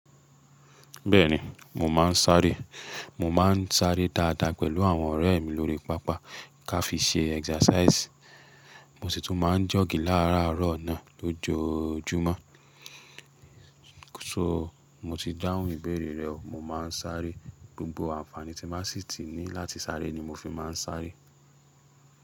Bẹ́ẹ̀ni, mò máa ń sáré. Mò máa ń sáré dáadáa pẹ̀lú àwọn ọ̀rẹ́ mi lórí pápá ká fi ṣe exercise. Mo sì tún máa ń jọ̀gí láàárọ̀ náà lójoojúmọ́. So mo ti dáhùn ìbéèrè rẹ o, mo máa ń sáré. Gbogbo àǹfààní tí bá sì ti ní láti sáré ni mo fi máa ń sáré.